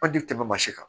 An ti tɛmɛ mansi kan